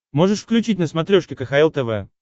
можешь включить на смотрешке кхл тв